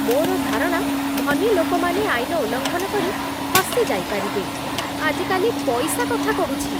ମୋର ଧାରଣା ଧନୀ ଲୋକମାନେ ଆଇନ ଉଲ୍ଲଙ୍ଘନ କରି ଖସିଯାଇପାରିବେ। ଆଜିକାଲି ପଇସା କଥା କହୁଛି!